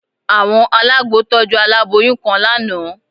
Àwọn alágbo tọ́jú aláboyún kan lánàá